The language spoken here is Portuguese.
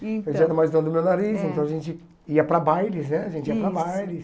Então, eu já era mais dono do meu nariz, então a gente ia para bailes né, a gente ia para bailes.